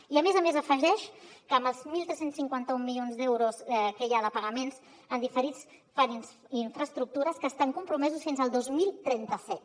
i a més a més afegeix que amb els tretze cinquanta u milions d’euros que hi ha de pagaments diferits en diferents infraestructures estan compromesos fins al dos mil trenta set